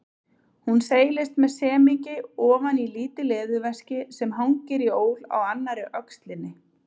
Hún seilist með semingi ofan í lítið leðurveski sem hangir í ól á annarri öxlinni.